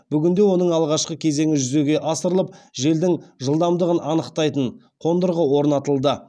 бүгінде оның алғашқы кезеңі жүзеге асырылып желдің жылдамдығын анықтайтын қондырғы орнатылды